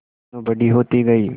मीनू बड़ी होती गई